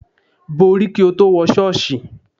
Bo orí kí o tó wọ ṣọ́ọ̀ṣì.